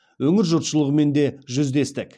өңір жұртшылығымен де жүздестік